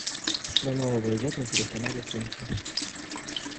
что нового идет на телеканале тнт